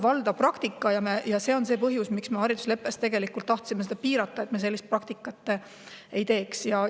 Selline praktika on seni olnud valdav ja sel põhjusel me haridusleppes tahtsimegi seda piirata, et selline praktika ei.